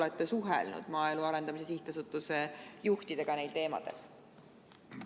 Kas te olete maaelu arendamise sihtasutuse juhtidega neil teemadel suhelnud?